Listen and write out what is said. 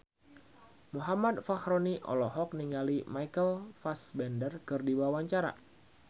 Muhammad Fachroni olohok ningali Michael Fassbender keur diwawancara